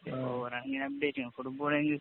ഇങ്ങനെ അപ്ഡേറ്റ് ചെയ്യണം. ഫുട്ബോള്‍ ആണെങ്കി